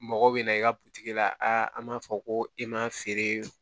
Mɔgɔ bɛ na i ka butigi la an b'a fɔ ko i m'a feere